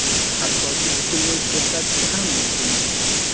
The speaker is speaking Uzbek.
Hattoki butunlay to‘xtatishi ham mumkin.